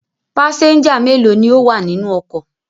Pásẹ́ńjà mélòó ni ó wà nínú ọkọ̀?